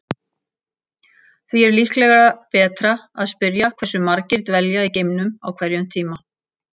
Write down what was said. Það er því líklega betra að spyrja hversu margir dvelja í geimnum á hverjum tíma.